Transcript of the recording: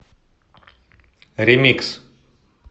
ремикс